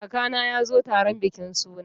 Kakana ya zo taron bikin suna.